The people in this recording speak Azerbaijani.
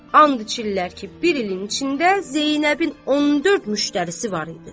And içirlər ki, bir ilin içində Zeynəbin 14 müştərisi var idi.